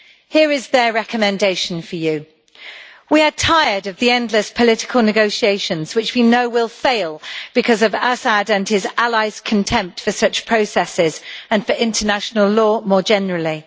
Here is their recommendation for you We are tired of the endless political negotiations, which we know will fail because of Assad and his allies' contempt for such processes and for international law more generally.